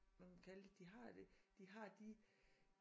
Man kunne kalde det de har det de har de